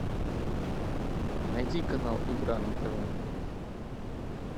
найди канал игра на тв